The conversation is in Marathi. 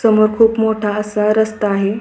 समोर खूप मोठा असा रस्ता आहे.